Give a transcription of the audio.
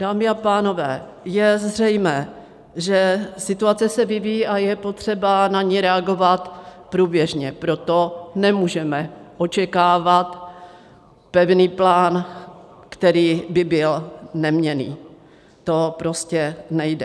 Dámy a pánové, je zřejmé, že situace se vyvíjí a je potřeba na ni reagovat průběžně, proto nemůžeme očekávat pevný plán, který by byl neměnný, to prostě nejde.